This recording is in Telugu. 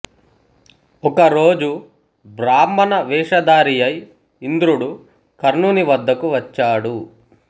ఒక రోజు బ్రాహ్మణ వేషధారియై ఇంద్రుడు కర్ణుని వద్దకు వచ్చాడు